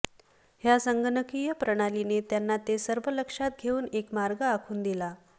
ह्या संगणकीय प्रणालीने त्यांना ते सर्व लक्षात घेऊन एक मार्ग आखून दिला